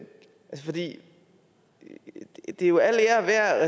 for det er jo al ære værd